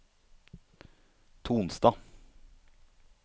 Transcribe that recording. Tonstad